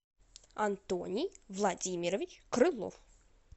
антоний владимирович крылов